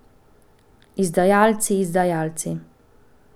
Izdajalci, izdajalci!